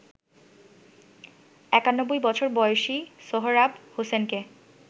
৯১ বছর বয়সী সোহরাব হোসেনকে